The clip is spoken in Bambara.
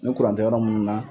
Ni kuran tɛ yɔrɔ munnu na